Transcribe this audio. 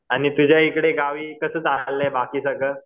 आणि तुझ्या इकडे गावी कसं चाललंय बाकी सगळं?